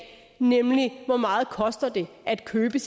nemlig hvor meget det koster at købe en